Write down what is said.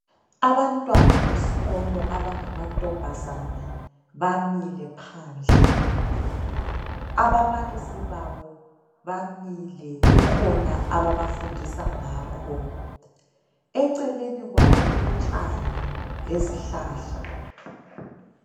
Abantwana besikolo abangama ntombazane bamile phandle, ababalisi babo bamile kukhona aba bafundisa ngakho, eceleni kwabo kulotshani lezi hlahla.